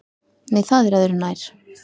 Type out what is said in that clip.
Nei, það er öðru nær!